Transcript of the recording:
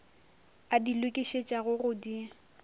a di lokišetšago go di